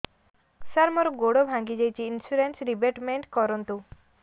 ସାର ମୋର ଗୋଡ ଭାଙ୍ଗି ଯାଇଛି ଇନ୍ସୁରେନ୍ସ ରିବେଟମେଣ୍ଟ କରୁନ୍ତୁ